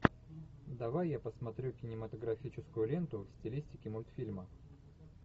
давай я посмотрю кинематографическую ленту в стилистике мультфильма